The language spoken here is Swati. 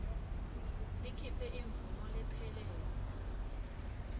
likhiphe imvumo lephelele